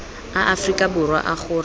a aforika borwa a gore